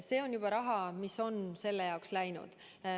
See on raha, mis on selle jaoks juba läinud.